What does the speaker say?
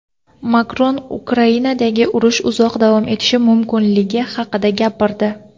Makron Ukrainadagi urush uzoq davom etishi mumkinligi haqida gapirdi.